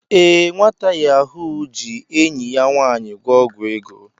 Ee, nwata Yahoo ahụ ji enyi ya nwanyi gwo ogwu ego.